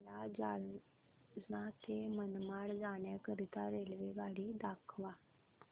मला जालना ते मनमाड जाण्याकरीता रेल्वेगाडी दाखवा